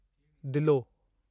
दिलो